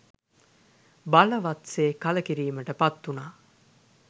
බලවත් සේ කළකිරීමට පත්වුණා.